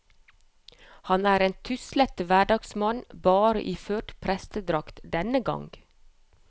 Han er en tuslete hverdagsmann, bare iført prestedrakt denne gang.